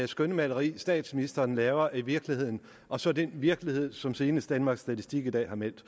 skønmaleri statsministeren laver af virkeligheden og så den virkelighed som senest danmarks statistik i dag har meldt